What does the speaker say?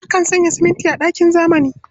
Akan sanya siminti a ginin zamani.